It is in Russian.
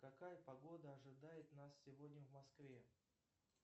какая погода ожидает нас сегодня в москве